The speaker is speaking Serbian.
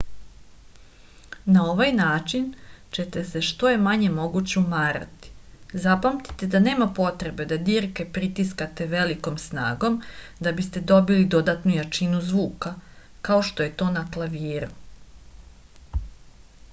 na ovaj način ćete se što je manje moguće umarati zapamtite da nema potrebe da dirke pritiskate velikom snagom da biste dobili dodatnu jačinu zvuka kao što je to na klaviru